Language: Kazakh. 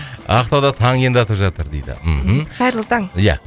ақтауда таң енді атып жатыр дейді мхм қайырлы таң ия